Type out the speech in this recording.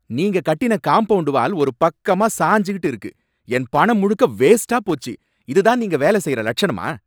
நீங்க கட்டின compound wall ஒரு பக்கமா சாஞ்சுகிட்டு இருக்கு, என் பணம்முழுக்க வேஸ்ட்டா போச்சு , இது தான் நீங்க வேல செய்யற லட்சணமா!